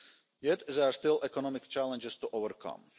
Yet, there are still economic challenges to overcome.